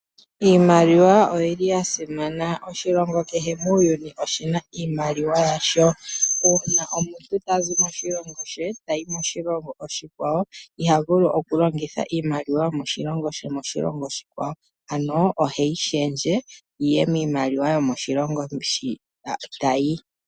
Iimaliwa oyili ya simana, oshilongo kehe muuyuni oshina iimaliwa yasho. Uuna omuntu tazi moshilongo she tayi moshilongo oshikwawo iha vulu okulongitha iimaliwa yomoshilongo shomoshilongo oshikwawo, ano oheyi shendje yiye miimaliwa yomoshilongo shi tayi.